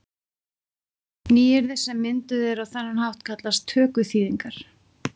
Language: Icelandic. Nýyrði sem mynduð eru á þennan hátt kallast tökuþýðingar.